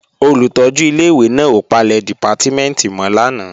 Olùtọ́jú ilé-ìwé náà ò palẹ̀ dìpátímẹ̀ntì mọ́ lánàá